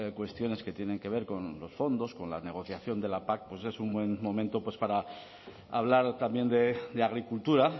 cuestiones que tienen que ver con los fondos con la negociación de la pac pues es un buen momento para hablar también de agricultura